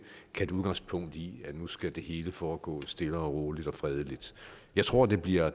tage udgangspunkt i at nu skal det hele foregå stille og roligt og fredeligt jeg tror det bliver